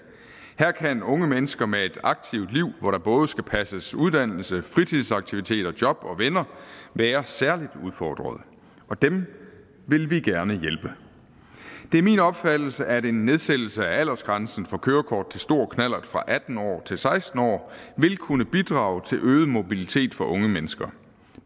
her kan unge mennesker med et aktivt liv hvor der både skal passes uddannelse fritidsaktiviteter job og venner være særligt udfordret og dem vil vi gerne hjælpe det er min opfattelse at en nedsættelse af aldersgrænsen for kørekort til stor knallert fra atten år til seksten år vil kunne bidrage til øget mobilitet for unge mennesker